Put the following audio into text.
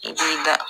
I b'i da